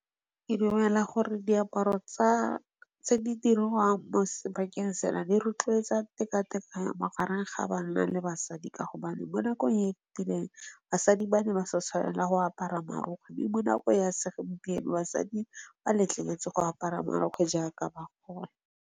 Ke dumela gore diaparo tse di dirwang mo sebakeng sena di rotloetsa tekatekano magareng ga banna le basadi ka gobane bo nakong e fetileng, basadi ba ne ba sa tshwanela go apara marokgwe. Mme mo nakong ya se gompieno basadi ba letleletswe go apara marokgwe jaaka ba kgona.